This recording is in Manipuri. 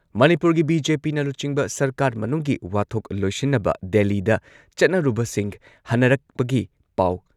ꯃꯅꯤꯄꯨꯔꯒꯤ ꯕꯤ.ꯖꯦ.ꯄꯤꯅ ꯂꯨꯆꯤꯡꯕ ꯁꯔꯀꯥꯔ ꯃꯅꯨꯡꯒꯤ ꯋꯥꯊꯣꯛ ꯂꯣꯏꯁꯤꯟꯅꯕ ꯗꯦꯜꯂꯤꯗ ꯆꯠꯅꯔꯨꯕꯁꯤꯡ ꯍꯟꯅꯔꯛꯄꯒꯤ ꯄꯥꯎ,